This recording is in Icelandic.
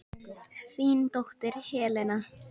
Þín dóttir Helena.